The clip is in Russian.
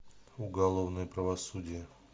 уголовное правосудие